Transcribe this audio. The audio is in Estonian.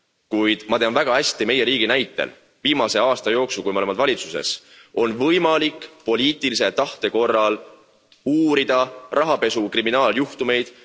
Kuid ma tean väga hästi meie riigi näitel viimase aasta jooksul, kui me oleme valitsuses, on võimalik poliitilise tahte korral uurida rahapesu kriminaaljuhtumeid.